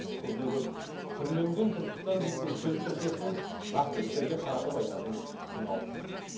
көбіне көп түрленген түркістан дейтін сөз тіркесін нақты істерге қаратып айтатын күн алыс емес